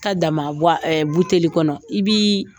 I ta dama buteli kɔnɔ i b'i